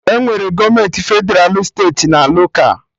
Enwere gọọmenti Fedralụ, steeti na loka